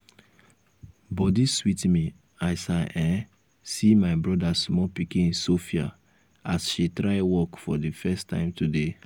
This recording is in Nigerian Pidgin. body sweet me as i um see my um brother small pikin sophia um as she try walk for the first time today